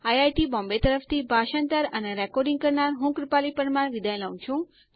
IIT Bombay તરફથી ભાષાંતર કરનાર હું કૃપાલી પરમાર વિદાય લઉં છું